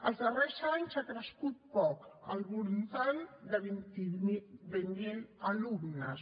els darrers anys ha crescut poc al voltant de vint mil alumnes